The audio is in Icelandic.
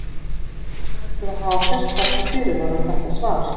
Því verður að hafa sérstaka fyrirvara um þetta svar.